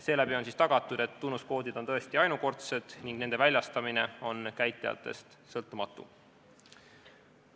Seeläbi on tagatud, et tunnuskoodid on tõesti ainukordsed ning nende väljastamine on käitlejatest sõltumatu.